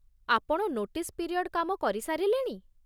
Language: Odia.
ଆପଣ ନୋଟିସ୍ ପିରିୟଡ୍ କାମ କରିସାରିଲେଣି ?